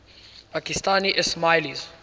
pakistani ismailis